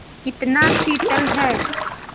कितना शीतल है